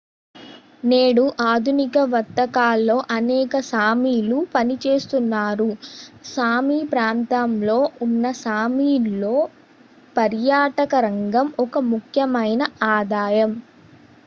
నేడు ఆధునిక వర్తకాల్లో అనేక సామీలు పనిచేస్తున్నారు సామీ ప్రాంతంలో ఉన్న సామీలో పర్యాటకరంగం ఒక ముఖ్యమైన ఆదాయం